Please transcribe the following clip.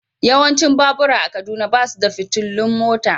Yawancin babura a Kaduna ba su da fitilun mota.